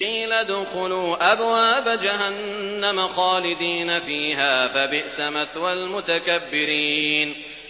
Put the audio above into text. قِيلَ ادْخُلُوا أَبْوَابَ جَهَنَّمَ خَالِدِينَ فِيهَا ۖ فَبِئْسَ مَثْوَى الْمُتَكَبِّرِينَ